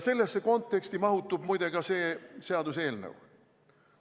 Sellesse konteksti mahutub muide ka see seaduseelnõu.